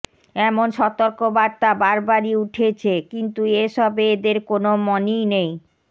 এমন সতর্কবার্তা বারবারই উঠেছে কিন্তু এসবে এদের কোন মনই নেই